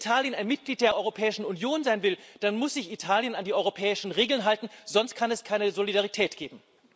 Wenn Italien ein Mitglied der Europäischen Union sein will, dann muss sich Italien an die europäischen Regeln halten, sonst kann es keine Solidarität geben.